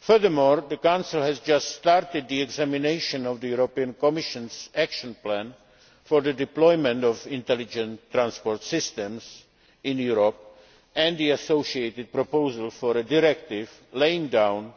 Furthermore, the Council has just started the examination of the Commission's action plan for the deployment of Intelligent Transport Systems in Europe and the associated proposal for a directive laying down